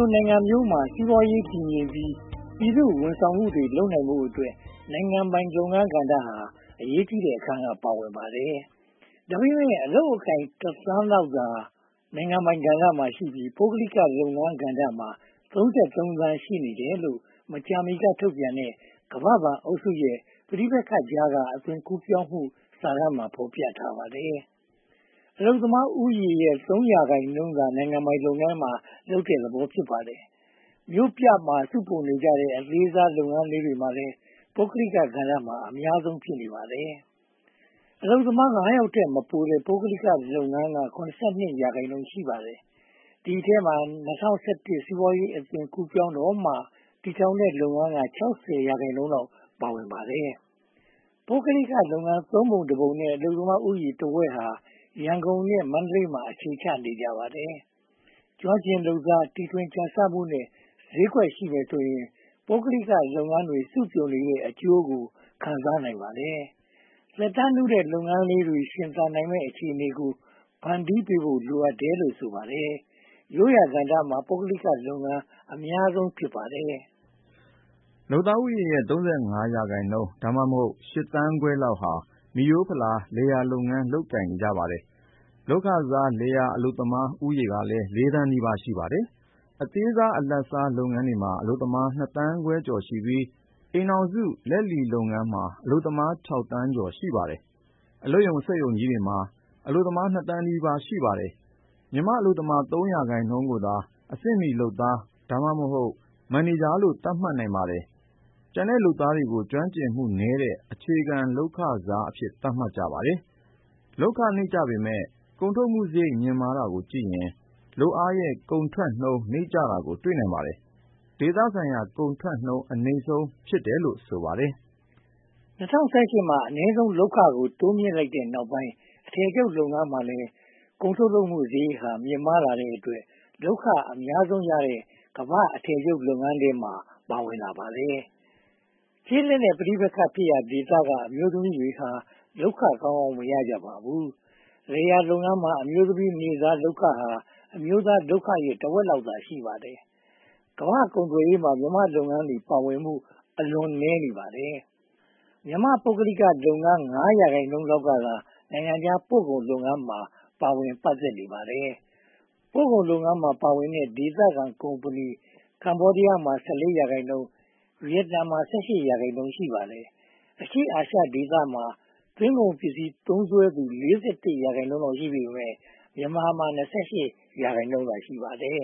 ို နိုင်ငံမျိုးမှာ စီးပွားရေးတည်ငြိမ်ပြီး ပြည်သူ့ဝန်ဆောင်မှုတွေ လုပ်နိုင်ဖို့အတွက် နိုင်ငံပိုင်လုပ်ငန်းကဏ္ဍဟာ အရေးကြီးတဲ့ အခန်းကဏ္ဍကနေ ပါဝင်ပါတယ်။ ဒါပေမဲ့ အလုပ်အကိုင် (၁) သန်းလောက်သာ နိုင်ငံပိုင်ကဏ္ဍရှိပြီး ပုဂ္ဂလိကလုပ်ငန်းကဏ္ဍမှာ (၃၃) သန်း ရှိနေတယ်လို့ မကြာမီကထုတ်ပြန်တဲ့ ကမ္ဘာ့ဘဏ်အုပ်စုရဲ့ ‘ပဋိပက္ခကြားက အသွင်ကူးပြောင်းမှု’ စာတမ်းမှာ ဖော်ပြထားပါတယ်။ အလုပ်သမားဦးရေရဲ့ (၃) ရာခိုင်နှုန်းသာ နိုင်ငံပိုင်လုပ်ငန်းမှာ လုပ်နေတဲ့သဘော ဖြစ်ပါတယ်။ မြို့ပြမှာ စုပြုံနေကြတဲ့ အသေးစားလုပ်ငန်းတွေမှာလည်း ပုဂ္ဂလိကကဏ္ဍက အများဆုံးဖြစ်နေပါတယ်။ အလုပ်သမား (၅) ယောက်ထက်မပိုတဲ့ ပုဂ္ဂလိကလုပ်ငန်းက (၇၂) ရာခိုင်နှုန်း ရှိပါတယ်။ ဒီအထဲမှာ၂၀၁၁ စီးပွားရေးအသွင်ကူးပြောင်းတော့မှ တည်ထောင်တဲ့လုပ်ငန်းက (၆၀) ရာခိုင်နှုန်းလောက် ပါဝင်ပါတယ်။ ပုဂ္ဂလိကလုပ်ငန်း သုံးပုံတစ်ပုံနဲ့ အလုပ်သမားဦးရေတဝက်ကျော်ဟာ ရန်ကုန်နဲ့ မန္တလေးမှာ အခြေချနေကြပါတယ်။ ကျွမ်းကျင်လုပ်သား၊ တီထွင်ကြံဆမှုနဲ့ ဈေးကွက်ရှိမယ်ဆိုရင် ပုဂ္ဂလိကလုပ်ငန်းတွေ စုပြုံနေတဲ့အကျိုးကို ခံစားနိုင်ပါတယ်။ သက်တမ်းနုတဲ့လုပ်ငန်းတွေ ရှင်သန်နိုင်မယ့် အခြေအနေကို ဖန်တီးပေးဖို့လည်း လိုအပ်တယ်လို့ ဆိုပါတယ်။ ရိုးရာကဏ္ဍမှာ ပုဂ္ဂလိကလုပ်ငန်း အများဆုံးဖြစ်ပါတယ်။ လုပ်သားဦးရေရဲ့ (၃၅) ရာခိုင်နှုန်း (သို့မဟုတ်) ရှစ်သန်းခွဲလောက်ဟာ မိရိုးဖလာ လယ်ယာလုပ်ငန်း လုပ်ကိုင်နေကြပါတယ်။ လုပ်ခစား လယ်ယာအလုပ်သမား ဦးရေကလည်း (၄) သန်းနီးပါး ရှိပါတယ်။ အသေးစား၊ အလတ်စား လုပ်ငန်းတွေမှာ အလုပ်သမား (၂) သန်းခွဲကျော်ရှိပြီး အိမ်ထောင်စုလက်လီလုပ်ငန်းမှာ အလုပ်သမား (၆) သန်းကျော် ရှိပါတယ်။ အလုပ်ရုံ၊ စက်ရုံကြီးတွေမှာ အလုပ်သမား (၂) သန်းနီးပါး ရှိပါတယ်။ မြန်မာအလုပ်သမား (၃) ရာခိုင်နှုန်းကိုသာ အဆင့်မီလုပ်သား (သို့မဟုတ်) မန်နေဂျာလို့ သတ်မှတ်နိုင်ပါတယ်။ ကျန်တဲ့လုပ်သားတွေကို ကျွမ်းကျင်မှုနည်းတဲ့ အခြေခံလုပ်ခစားအဖြစ် သတ်မှတ်ပါတယ်။ လုပ်ခနိမ့်ကျပေမယ့် ကုန်ထုတ်လုပ်မှုစရိတ် မြင့်မားတာကိုကြည့်ရင် လုပ်အားရဲ့ ကုန်ထုတ်နှုန်း နိမ့်ကျတာကို တွေ့နိုင်ပါတယ်။ ဒေသဆိုင်ရာမှာ ကုန်ထုတ်နှုန်းအနိမ့်ဆုံး ဖြစ်တယ်လို့ ဆိုပါတယ်။ ၂၀၁၈ မှာ အနည်းဆုံးလုပ်ခကို တိုးမြှင့်လိုက်တဲ့နောက်ပိုင်း အထည်ချုပ်လုပ်ငန်းမှာလည်း ကုန်ထုတ်မှုစရိတ် မြင့်မားတဲ့အတွက် လုပ်ခအများဆုံးရတဲ့ ကမ္ဘာ့အထည်ချုပ်လုပ်ငန်းထဲ ပါဝင်လာပါတယ်။ ကျေးလက်နဲ့ ပဋိပက္ခဖြစ်ရာဒေသက အမျိုးသမီးတွေဟာ လုပ်ခကောင်းကောင်းမရကြပါဘူး။ လယ်ယာလုပ်ငန်းမှာ အမျိုးသမီးနေ့စားလုပ်ခဟာ အမျိုးသားလုပ်ခရဲ့ တဝက်သာ ရှိပါတယ်။ ကမ္ဘာ့ကုန်သွယ်ရေးမှာ မြန်မာ့လုပ်ငန်းတွေ ပါဝင်မှု အလွန်နည်းပါတယ်။ မြန်မာ ပုဂ္ဂလိကလုပ်ငန်း (၅) ရာခိုင်နှုန်းလောက်ကသာ နိုင်ငံခြားပို့ကုန်လုပ်ငန်းမှာ ပါဝင်ပတ်သက်နေပါတယ်။ ပို့ကုန်လုပ်ငန်းမှာ ပါဝင်တဲ့ ဒေသခံကုမ္ပဏီ ကမ္ဘောဒီးယား (၁၄) ရာခိုင်နှုန်း၊ ဗီယက်နမ်မှာ(၁၈) ရာခိုင်နှုန်း ရှိပါတယ်။ အရှေ့အာရှဒေသမှာ သွင်းကုန်ပစ္စည်းသုံးစွဲသူ (၄၁) ရာခိုင်နှုန်း ရှိပေမယ့် မြန်မာမှာ (၂၈) ရာခိုင်နှုန်းသာ ရှိပါတယ်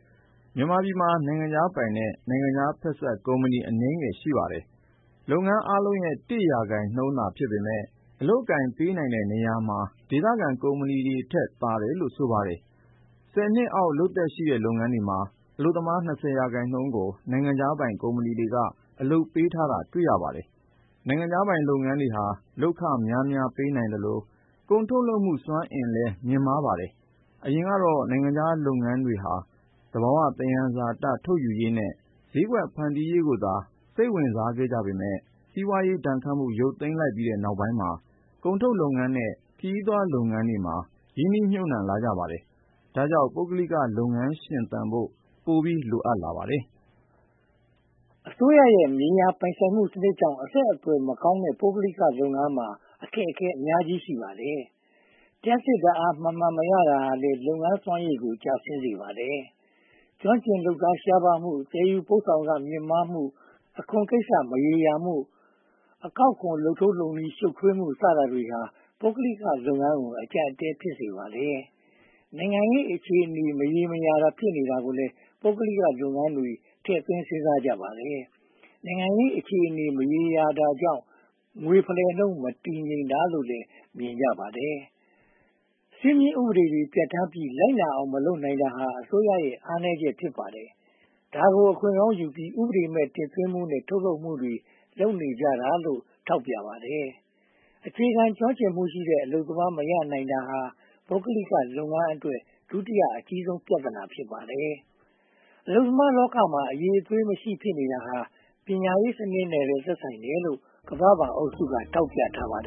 ။ မြန်မာပြည်မှာ နိုင်ငံခြားပိုင်နဲ့ နိုင်ငံခြားဖက်စပ်ကုမ္ပဏီ အနည်းငယ်ရှိပါတယ်။ လုပ်ငန်းအားလုံးရဲ့ (၁) ရာခိုင်နှုန်းသာ ဖြစ်ပေမယ့် အလုပ်အကိုင်ပေးတဲ့နေရာမှာ ဒေသခံကုမ္ပဏီတွေထက်သာတယ်လို့ ဆိုပါတယ် (၁၀) နှစ်အောက် လုပ်သက်ရှိတဲ့ လုပ်ငန်းတွေမှာ အလုပ်သမား (၂၀) ရာခိုင်နှုန်းကို နိုင်ငံခြားပိုင်ကုမ္ပဏီတွေက အလုပ်ပေးထားတာ တွေ့ရပါတယ်။ နိုင်ငံခြားပိုင်လုပ်ငန်းတွေဟာ လုပ်ခများများပေးနိုင်သလို ကုန်ထုတ်လုပ်မှုစွမ်းအင်လည်း မြှင့်မားကြပါတယ်။ အရင်ကတော့ နိုင်ငံခြားလုပ်ငန်းတွေဟာ သဘာဝသယံဇာတ ထုတ်ယူရေးနဲ့ ဈေးကွက်ဖန်တီးရေးကိုသာ စိတ်ဝင်စားခဲ့ပေမယ့် စီးပွားရေးဒဏ်ခတ်မှု ရုတ်သိမ်းလိုက်တဲ့နောက်ပိုင်းမှာ ကုန်ထုတ်လုပ်ငန်းနဲ့ ခရီးသွားလုပ်ငန်းတွေမှာ ရင်းနှီးမြုပ်နံှလာကြပါတယ်။ ဒါကြောင့် ပုဂ္ဂလိကလုပ်ငန်းရှင်သန်ဖို့ ပိုပြီးလိုအပ်လာပါတယ်။ အစိုးရရဲ့ မြေယာပိုင်ဆိုင်မှုစနစ်ကြောင့် အဆက်အသွယ်မကောင်းတဲ့ ပုဂ္ဂလိကလုပ်ငန်းများမှာ အခက်အခဲ ရှိပါတယ်။ လျှပ်စစ်ဓါတ်အား မှန်မှန်မရတာဟာလည်း လုပ်ငန်းစွမ်းရည်ကို ကျဆင်းစေပါတယ်။ ကျွမ်းကျင်လုပ်သားရှားပါးမှု၊ သယ်ယူပို့ဆောင်ခမြှင့်မားမှု၊ အခွန်ကိစ္စမရေရာမှု၊ အကောက်ခွန် လုပ်ထုံးလုပ်နည်း ရှုတ်ထွေးမှု စတာတွေဟာ ပုဂ္ဂလိကလုပ်ငန်းကို အကျပ်အတည်း ဖြစ်စေပါတယ်။ နိုင်ငံရေးအခြေအနေ မရေရာတာကိုလည်း ပုဂ္ဂလိကလုပ်ငန်းတွေ ထည့်သွင်းစဉ်းစားကြပါတယ်။ နိုင်ငံရေးအခြေအနေ မရေရာတာကြောင့် ငွေဖလှယ်နှုန်း မတည်ငြိမ်တာကိုလည်း မြင်ကြပါတယ်။ စည်းမျဉ်းဥပဒေတွေ ပြဌာန်းပြီး လိုက်နာအောင် မလုပ်နိုင်တာဟာလည်း အစိုးရရဲ့ အားနည်းချက် ဖြစ်ပါတယ်။ ဒါကို အခွင့်ကောင်းယူပြီး ဥပဒေမဲ့ တင်သွင်းမှုနဲ့ ထုတ်လုပ်မှုတွေ လုပ်နေကြတာလို့ ထောက်ပြကြပါတယ်။ အခြေခံကျွမ်းကျင်မှုရှိတဲ့ အလုပ်သမား မရနိုင်တာဟာ ပုဂ္ဂလိကလုပ်ငန်းအတွက် ဒုတိယအကြီးဆုံး ပြဿနာ ဖြစ်ပါတယ်။ အလုပ်သမားလောကမှာ အရည်အသွေးမရှိ ဖြစ်နေတာဟာ ပညာရေးစနစ်နဲ့လည်း သက်ဆိုင်တယ်လို့ ကမ္ဘာ့ဘဏ်အုပ်စုက ထောက်ပြထားပါတယ်